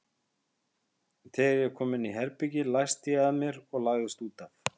Þegar ég kom inn á herbergið læsti ég að mér og lagðist út af.